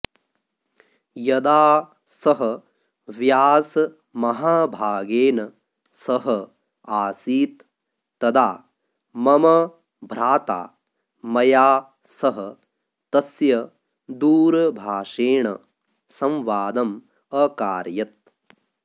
यदा सः व्यासमहाभागेन सह आसीत् तदा मम भ्राता मया सह तस्य दूरभाषेण संवादमकारयत्